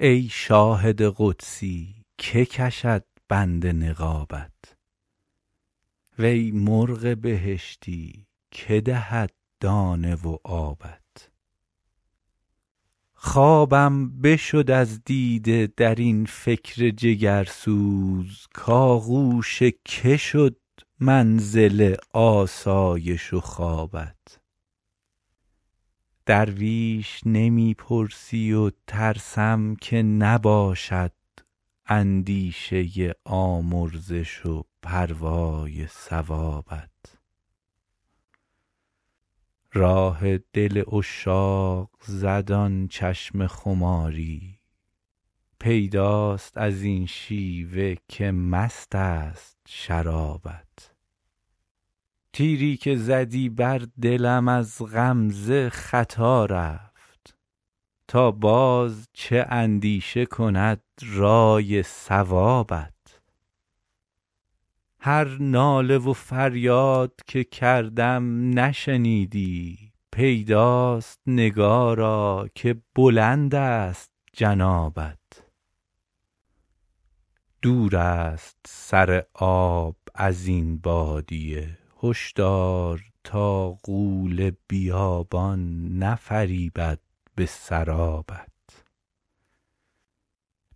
ای شاهد قدسی که کشد بند نقابت وی مرغ بهشتی که دهد دانه و آبت خوابم بشد از دیده در این فکر جگرسوز کآغوش که شد منزل آسایش و خوابت درویش نمی پرسی و ترسم که نباشد اندیشه آمرزش و پروای ثوابت راه دل عشاق زد آن چشم خماری پیداست از این شیوه که مست است شرابت تیری که زدی بر دلم از غمزه خطا رفت تا باز چه اندیشه کند رأی صوابت هر ناله و فریاد که کردم نشنیدی پیداست نگارا که بلند است جنابت دور است سر آب از این بادیه هشدار تا غول بیابان نفریبد به سرابت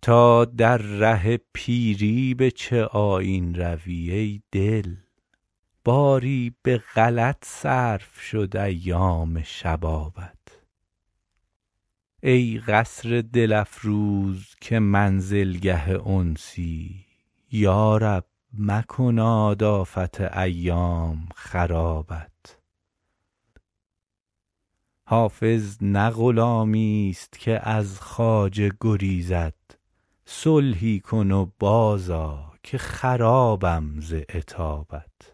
تا در ره پیری به چه آیین روی ای دل باری به غلط صرف شد ایام شبابت ای قصر دل افروز که منزلگه انسی یا رب مکناد آفت ایام خرابت حافظ نه غلامیست که از خواجه گریزد صلحی کن و بازآ که خرابم ز عتابت